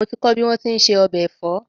Mo ti kọ́ bí wón ti ń se ọbẹ̀ ẹ̀fọ́